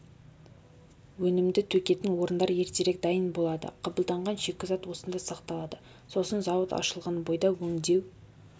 өнімді төгетін орындар ертерек дайын болады қабылданған шикізат осында сақталады сосын зауыт ашылған бойда өңдеу